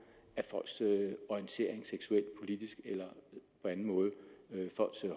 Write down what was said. af folks orientering seksuelt politisk eller folks